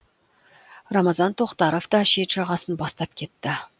рамазан тоқтаров та шет жағасын бастап кетті